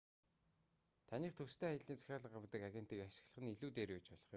таныхтай төстэй аяллын захиалга авдаг агентийг ашиглах нь илүү дээр байж болох юм